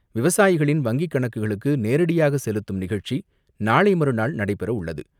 விவசாயிகளின் வங்கி கணக்குகளுக்கு நேரடியாக செலுத்தும் நிகழ்ச்சி நாளை மறுநாள் நடைபெற உள்ளது.